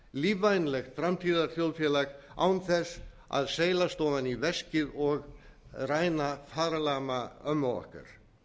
lífvænlegt framtíðarþjóðfélag án þess að seilast ofan í veskið og ræna farlama ömmu okkar